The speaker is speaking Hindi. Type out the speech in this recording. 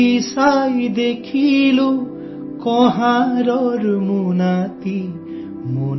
खोलकर देखा कुम्हार के झोले को तो